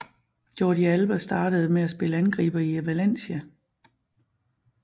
Jordi Alba startede med at spille angriber i Valencia